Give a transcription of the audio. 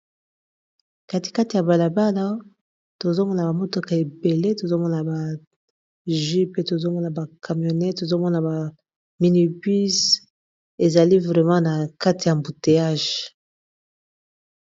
katikati ya balabala tozomona bamotoka ebele tozomona ba ju pe tozomona ba camionet tozomona ba minipus ezali vrama na kati ya mbuteyage